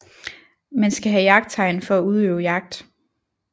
Man skal have jagttegn for at udøve jagt